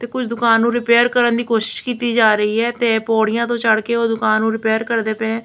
ਕੁਝ ਦੁਕਾਨ ਨੂੰ ਰਿਪੇਅਰ ਕਰਨ ਦੀ ਕੋਸ਼ਿਸ਼ ਕੀਤੀ ਜਾ ਰਹੀ ਹੈ ਤੇ ਪੌੜੀਆਂ ਤੋਂ ਚੜ੍ਹਕੇ ਓਹ ਦੁਕਾਨ ਨੂੰ ਰਿਪੇਅਰ ਕਰਦੇ ਪਏ --